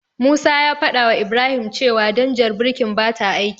Musa ya fadawa Ibrahim cewa danjar birkin bata aiki.